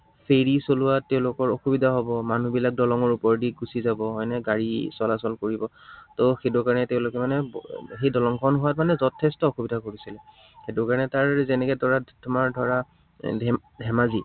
Ferry চলোৱাত তেওঁলোকৰ অসুবিধা হব, মানুহবিলাক দলঙৰ ওপৰেদি গুচি যাব, হয়নে, গাড়ী চলাচল কৰিব। ত সেইটো কাৰনে তেওঁলোকে মানে সেই দলংখন হোৱাত মানে যথেষ্ট অসুবিধা কৰিছিল। সেইটো কাৰনে তাৰ যেনেকে ধৰা, তোমাৰ ধৰা ধেমাজি